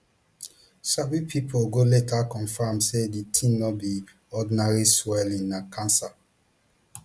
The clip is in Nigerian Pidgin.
sabi pipo go later confam say di tin no be ordinary swelling na cancer